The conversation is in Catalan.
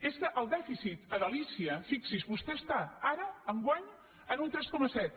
és que el dèficit a galícia fixi’s vostè està ara enguany en un tres coma set